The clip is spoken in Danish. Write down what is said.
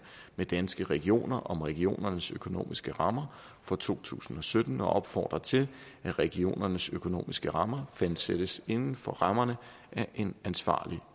med danske regioner om regionernes økonomiske rammer for to tusind og sytten og opfordrer til at regionernes økonomiske rammer fastsættes inden for rammerne af en ansvarlig